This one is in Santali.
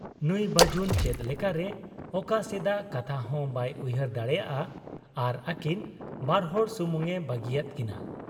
ᱱᱩᱸᱭ ᱵᱟᱹᱡᱩᱱ ᱪᱮᱫ ᱞᱮᱠᱟᱨᱮ ᱚᱠᱟ ᱥᱮᱫᱟᱜ ᱠᱟᱛᱷᱟᱦᱚᱸ ᱵᱟᱭ ᱩᱭᱦᱟᱹᱨ ᱫᱟᱲᱮᱭᱟᱫ ᱟ ᱟᱨ ᱟᱹᱠᱤᱱ ᱵᱟᱨᱦᱚᱲ ᱥᱩᱢᱩᱝ ᱮ ᱵᱟᱹᱜᱤᱭᱟᱫ ᱠᱤᱱᱟ ᱾